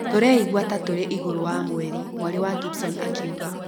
‘’Tũreigua ta tũrĩ igũrũ wa mweri’’ mwarĩ wa Gibson akiuga